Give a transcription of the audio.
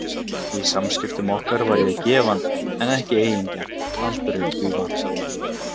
Í samskiptum okkar var ég gefandi en ekki eigingjarn, aldrei því vant.